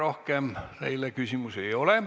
Rohkem teile küsimusi ei ole.